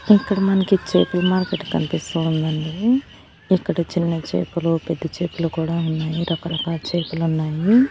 ఇక్కడ మనకి చేపల మార్కెట్ కనిపిస్తూ ఉందండి. ఇక్కడ చిన్న చేపలు పెద్ద చేపలు కూడా ఉన్నాయి రకరకాల చేపలు ఉన్నాయి.